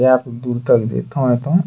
दूर तक जैतोन-ऐतोन।